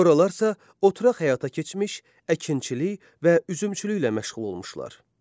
Sonralarsa oturaq həyata keçmiş, əkinçilik və üzümçülüklə məşğul olmuşlar.